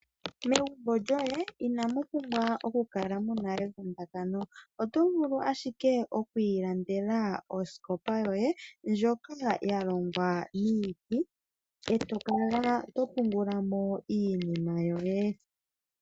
Megumbo lyoye inamu pumbwa oku kala muna evundakano . Oto vulu ashike oku ilandela osikopa yoye . Ndjoka ya longwa miiti eto kala to pungula mo iinima yoye.